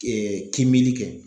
K kimili kɛ